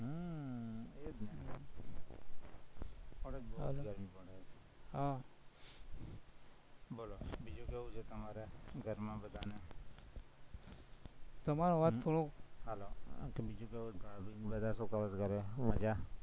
અત્યારે બોવ હા બોલો બીજું કાઈ જે તમારા ઘરમાં બધામાં તમારો અવાજ થોડો hello બીજું કાઈ બધું શું કરે ઘરે મજા